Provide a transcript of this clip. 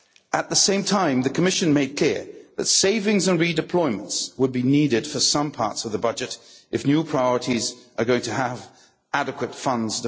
At the same time the Commission made it clear that savings on redeployments would be needed for some parts of the budget if new priorities were going to be properly funded.